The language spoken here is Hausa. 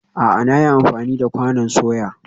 A'a, na yi amfani da kwanon soya